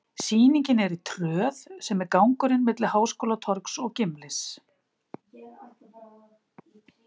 Sýningin er í Tröð, sem er gangurinn milli Háskólatorgs og Gimlis.